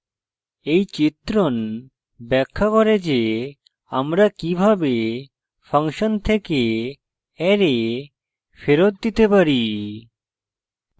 এই চিত্রণ ব্যাখ্যা করে যে আমরা কিভাবে ফাংশন থেকে অ্যারে ফেরত দিতে পারি